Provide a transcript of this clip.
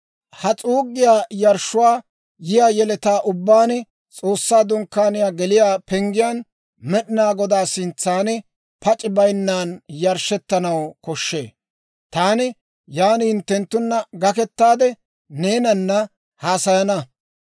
«Ha s'uuggiyaa yarshshuu yiyaa yeletaa ubbaan S'oossaa Dunkkaaniyaa geliyaa penggiyaan Med'inaa Godaa sintsan pac'c'i baynnan yarshshettanaw koshshee. Taani yaan hinttenttunna gakettaade, neenana haasayana.